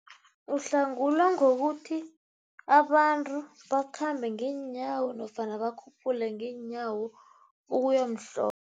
Uhlangulwa ngokuthi abantu bakhambe ngeenyawo nofana bakhuphuke ngeenyawo